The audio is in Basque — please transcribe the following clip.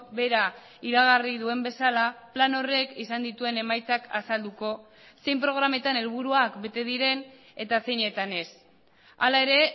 berah iragarri duen bezala plan horrek izan dituen emaitzak azalduko zein programetan helburuak bete diren eta zeinetan ez hala ere